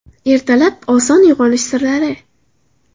Ertalab oson uyg‘onish sirlari.